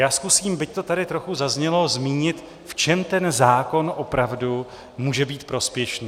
Já zkusím, byť to tady trochu zaznělo, zmínit, v čem ten zákon opravdu může být prospěšný.